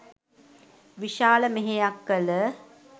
විශාල මෙහෙයක් කළ